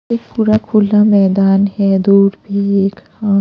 एक पूरा खुला मैदान है दूर पे एक अ--